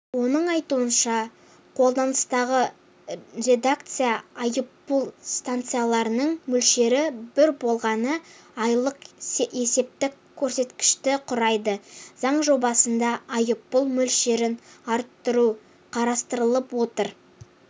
оның айтуынша қолданыстағы редакцияда айыппұл санкцияларының мөлшері бар болғаны айлық есептік көрсеткішті құрайды заң жобасында айыппұл мөлшерін арттыру қарастырылып отыр